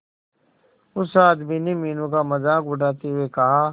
उस आदमी ने मीनू का मजाक उड़ाते हुए कहा